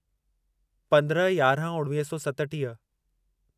पंद्रहं यारहं उणवीह सौ सतटीह